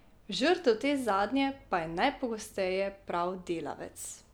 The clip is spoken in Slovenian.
Žrtev te zadnje pa je najpogosteje prav delavec.